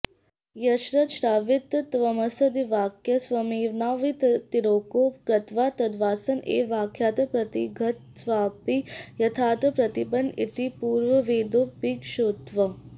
यश्च श्राविततत्त्वमस्यादिवाक्यः स्वयमेवान्वयव्यतिरेको कृत्वा तदवसान एव वाक्यार्थं प्रतिपद्यतेऽसावपि यथार्थं प्रतिपन्न इति पूर्ववदेवोपेक्षितव्यः